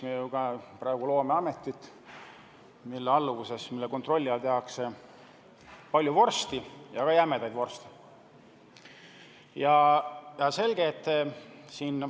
Me praegu loome ametit, mille alluvuses ja mille kontrolli all tehakse palju vorsti, ka jämedaid vorste.